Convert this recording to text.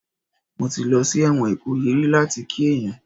Mo ti lọ sí ẹ̀wọ̀n Ìkòyí rí láti kí èèyàn